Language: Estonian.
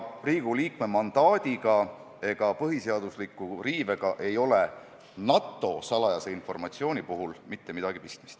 Riigikogu liikme mandaadiga ega põhiseaduse riivega ei ole NATO salajase informatsiooni puhul mitte midagi pistmist.